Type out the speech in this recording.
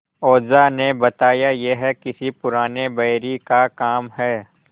ओझा ने बताया यह किसी पुराने बैरी का काम है